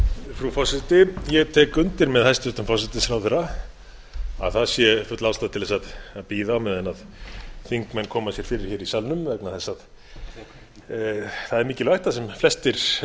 frú forseti ég tek undir með hæstvirtum forsætisráðherra að það sé full ástæða til að bíða á meðan þingmenn koma sér fyrir í salnum vegna þess að það er mikilvægt að sem flestir fylgist